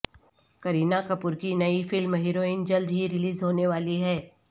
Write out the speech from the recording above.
کرینہ کپور کی نئی film Heroine جلد ہی ریلیز ہونے والی ہے